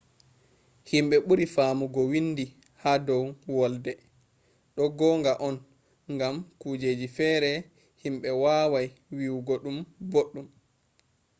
himɓe ɓuri faamugo windi ha dow wolde. ɗo gonga on gam kujeji fere himɓe wawai wiyugo ɗum boɗɗum